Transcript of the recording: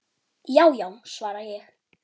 Já já, svara ég.